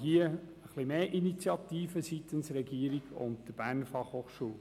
Wir erwarten seitens der Regierung und der BFH etwas mehr Initiative.